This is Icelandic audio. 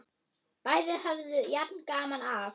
Bæði höfðu jafn gaman af!